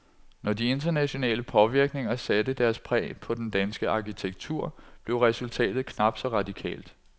Når de internationale påvirkninger satte deres præg på den danske arkitektur, blev resultatet knap så radikalt.